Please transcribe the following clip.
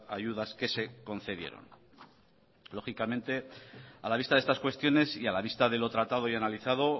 ayudas que se concedieron lógicamente a la vista de estas cuestiones y a la vista de lo tratado y analizado